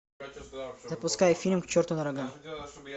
запускай фильм к черту на рога